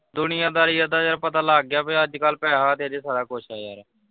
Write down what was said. ਦੁਨੀਆ ਦਾਰੀ ਦਾ ਤਾ ਯਾਰ ਪਤਾ ਲੱਗ ਗਿਆ ਬਈ ਅੱਜ ਕੱਲ ਪੈਹਾ ਤੇ ਅਜੇ ਸਾਰਾ ਕੁਝ ਆ ਯਾਰ।